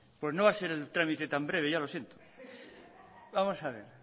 pues no va a ser el trámite tan breve ya lo siento vamos a ver